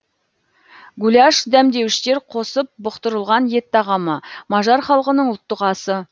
гуляш дәмдеуіштер қосып бұқтырылған ет тағамы мажар халқының ұлттық асы